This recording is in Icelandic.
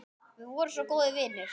Við vorum svo góðir vinir.